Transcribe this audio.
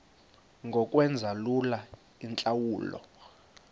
ngokwenza lula iintlawulo